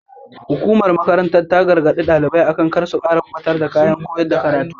Hukumar makarantar ta gargaɗi ɗalibai akan kar su kuma ɓatar da kayan koya karatu.